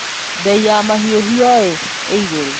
Bei ya mahiũĩ igũrũ